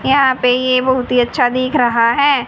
यहां पे ये बहुत ही अच्छा दिख रहा है।